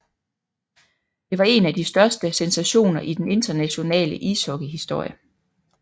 Det var en af de største sensationer i den internationale ishockeyhistorie